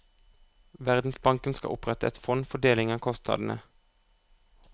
Verdensbanken skal opprette et fond for deling av kostnadene.